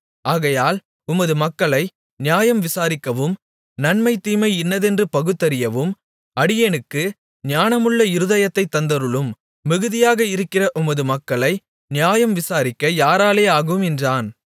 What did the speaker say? ஆகையால் உமது மக்களை நியாயம் விசாரிக்கவும் நன்மை தீமை இன்னதென்று பகுத்தறியவும் அடியேனுக்கு ஞானமுள்ள இருதயத்தைத் தந்தருளும் மிகுதியாக இருக்கிற உமது மக்களை நியாயம் விசாரிக்க யாராலே ஆகும் என்றான்